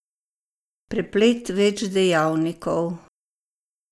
Preplet več dejavnikov.